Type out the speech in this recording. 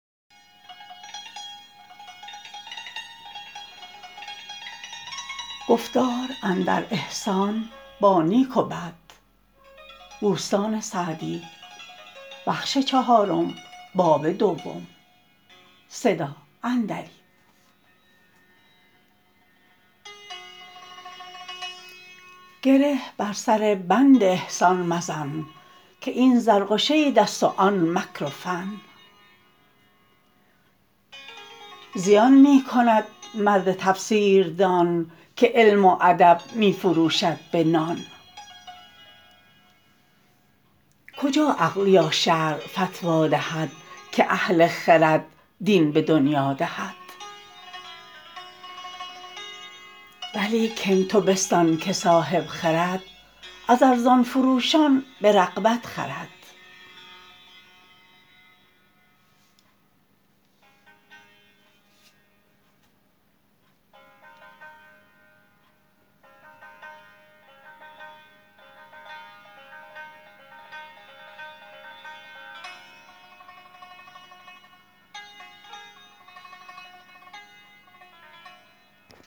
گره بر سر بند احسان مزن که این زرق و شید است و آن مکر و فن زیان می کند مرد تفسیر دان که علم و ادب می فروشد به نان کجا عقل یا شرع فتوی دهد که اهل خرد دین به دنیا دهد ولیکن تو بستان که صاحب خرد از ارزان فروشان به رغبت خرد